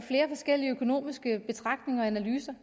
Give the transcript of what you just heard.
flere forskellige økonomiske betragtninger og analyser